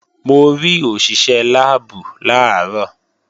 Mo rí òṣìṣé láàbù làárọ̀